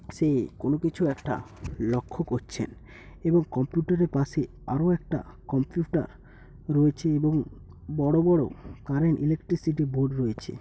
সে কোন কিছু একটা লক্ষ্য করছেন এবং কম্পিউটার -এর পাশে আরো একটা কম্পিউটার রয়েছে এবং বড় বড় কারেন্ট ইলেকট্রিসিটি বোর্ড রয়েছে।